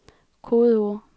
kodeord